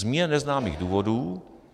Z mně neznámých důvodů